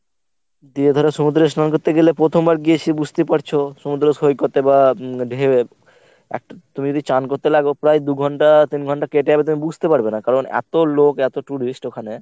দিয়ে ধর সমুদ্রে স্নান করতে গেলে প্রথমবার গিয়েছি বুঝতেই পারছো। সমুদ্রে সৈকতে বা ঢেইয়ে একটা তুমি যদি চান করতে লাগ প্রায় দু’ঘন্টা তিন ঘন্টা কেটে যাবে তুমি বুঝতে পারবে না কারণ মানে এত লোক এত tourist ওখানে।